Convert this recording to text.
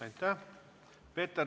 Aitäh!